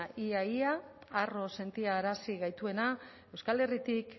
ia ia harro sentiarazi gaituena euskal herritik